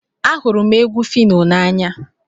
Ahụrụ m egwu Phyno n'anya